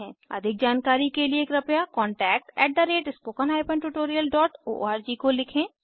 अधिक जानकारी के लिए कृपया contactspoken tutorialorg को लिखें